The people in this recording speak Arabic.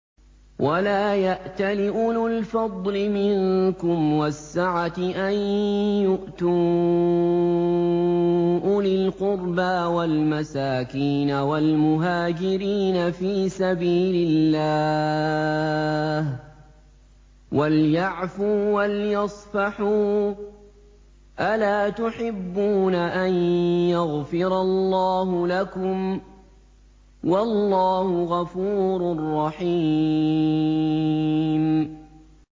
وَلَا يَأْتَلِ أُولُو الْفَضْلِ مِنكُمْ وَالسَّعَةِ أَن يُؤْتُوا أُولِي الْقُرْبَىٰ وَالْمَسَاكِينَ وَالْمُهَاجِرِينَ فِي سَبِيلِ اللَّهِ ۖ وَلْيَعْفُوا وَلْيَصْفَحُوا ۗ أَلَا تُحِبُّونَ أَن يَغْفِرَ اللَّهُ لَكُمْ ۗ وَاللَّهُ غَفُورٌ رَّحِيمٌ